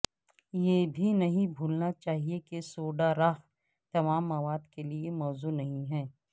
یہ بھی نہیں بھولنا چاہیے کہ سوڈا راھ تمام مواد کے لئے موزوں نہیں ہے